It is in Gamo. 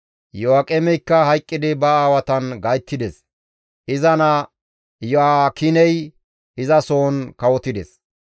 Iyo7aaqemeykka hayqqidi ba aawatan gayttides; iza naa Iyo7aakiney izasohon kawotides.